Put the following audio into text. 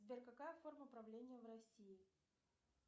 сбер какая форма правления в россии